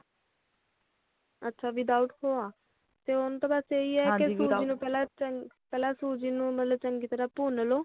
ਅੱਛਾ without ਖੋਆ ਓਨੁਤੇ ਬਸ ਇਹ ਹੀ ਆ ਕਿ ਸੂਜ਼ੀ ਨੂੰ ਪਹਿਲਾਂ ਚ ਪਹਿਲਾਂ ਸੂਜ਼ੀ ਨੂੰ ਮਤਲੱਬ ਚੰਗੀ ਤਰ੍ਹਾਂ ਭੁੰਨ ਲਾਓ